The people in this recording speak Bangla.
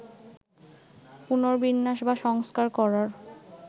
পুনর্বিন্যাস বা সংস্কার করার